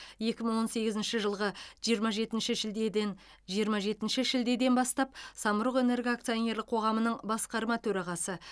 екі мың он сегізінші жылғы жиырма жетінші шілдеден жиырма жетінші шілдеден бастап самұрық энерго акционерлік қоғамының басқарма төрағасы